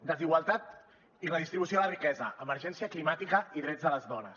desigualtat i redistribució de la riquesa emergència climàtica i drets de les dones